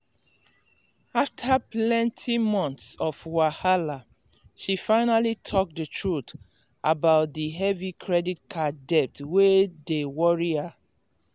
after plenty months of wahala she finally talk the truth about the heavy credit card debt wey dey worry her.